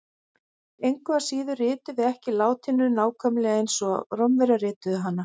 Engu að síður ritum við ekki latínu nákvæmlega eins og Rómverjar rituðu hana.